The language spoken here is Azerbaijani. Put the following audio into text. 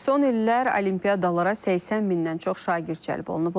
Son illər olimpiadalara 80 mindən çox şagird cəlb olunub.